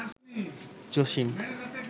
Jasim